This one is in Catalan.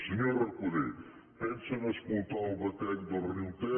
senyor recoder pensen escotar el batec del riu ter